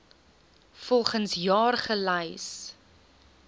volgens jaar gelys